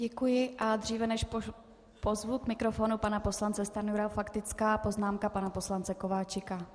Děkuji, a dříve než pozvu k mikrofonu pana poslance Stanjuru, faktická poznámka pana poslance Kováčika.